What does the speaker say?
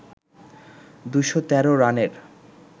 ২১৩ রানের